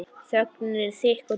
Þögnin er þykk og djúp.